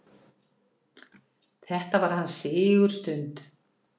Þetta var hans sigurstund.